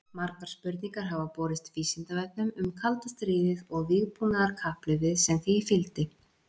Margar spurningar hafa borist Vísindavefnum um kalda stríðið og vígbúnaðarkapphlaupið sem því fylgdi.